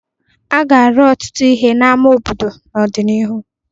A ga-arụ ọtụtụ ihe n'ama obodo n'ọdịnihu.